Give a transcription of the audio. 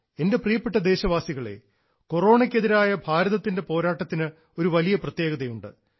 എൻറെ പ്രിയപ്പെട്ട ദേശവാസികളേ കൊറോണയ്ക്കെതിരായ ഭാരതത്തിൻറെ പോരാട്ടത്തിന് ഒരു വലിയ പ്രത്യേകതയുണ്ട്